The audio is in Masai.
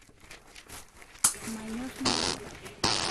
Manyor ndala